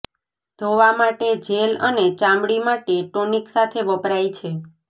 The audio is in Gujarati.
ધોવા માટે જેલ અને ચામડી માટે ટોનિક સાથે વપરાય છે